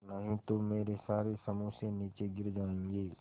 नहीं तो मेरे सारे समोसे नीचे गिर जायेंगे